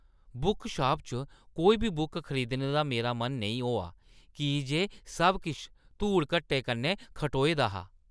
Bookshop च कोई बी बुक खरीदने दा मेरा मन नेईं होआ की जे सब किश धूड़-घट्टे कन्नै खटोए दा हा।